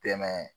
Dɛmɛ